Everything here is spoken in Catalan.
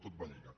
tot va lligat